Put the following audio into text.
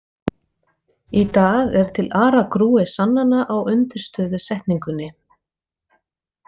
Í dag er til aragrúi sannana á undirstöðusetningunni.